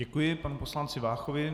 Děkuji panu poslanci Váchovi.